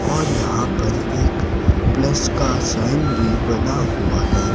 और यहां पर एक प्लस का साइन भी बना हुआ है।